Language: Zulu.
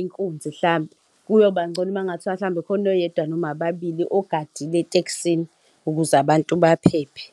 inkunzi, mhlampe. Kuyoba ngcono uma kungathiwa mhlawumbe kukhona oyedwa noma ababili ogadile etekisini ukuze abantu baphephe.